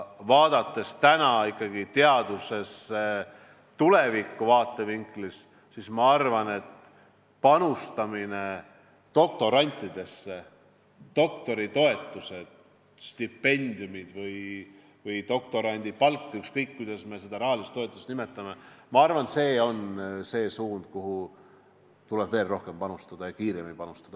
Vaadates täna ikkagi teadust tuleviku vaatevinklist, siis ma arvan, et panustamine doktorantidesse, doktoritoetused, stipendiumid või doktorandipalk, ükskõik kuidas me seda rahalist toetust nimetame, on see, kuhu tuleb veel rohkem ja kiiremini panustada.